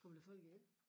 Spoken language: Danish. Kommer der folk ind?